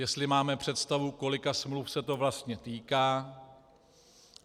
Jestli máme představu, kolika smluv se to vlastně týká.